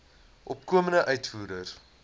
opkomende uitvoerders